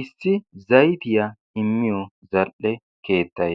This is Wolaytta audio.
Issi zayttiya immiyo zal'e keettay